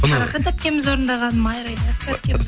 қарақат әпкеміз орындаған майра ілиясов әпке